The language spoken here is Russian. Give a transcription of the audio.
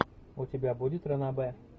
у тебя будет ранобэ